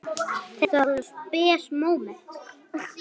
Þetta var alveg spes móment.